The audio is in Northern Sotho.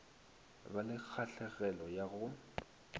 ba le kgahlegelo ya go